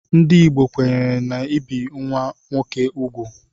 Ndị Igbo kwenyere n'ibi nwa nwoke úgwù.